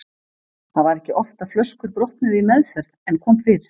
Það var ekki oft að flöskur brotnuðu í meðferð en kom fyrir.